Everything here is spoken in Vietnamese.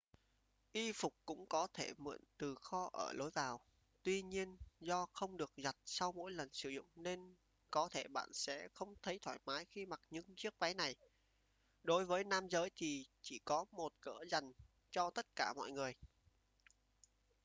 y phục cũng có thể mượn từ kho ở lối vào tuy nhiên do không được giặt sau mỗi lần sử dụng nên có thể bạn sẽ không thấy thoải mái khi mặc những chiếc váy này đối với nam giới thì chỉ có một cỡ dành cho tất cả mọi người